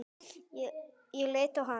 Ég leit á hann.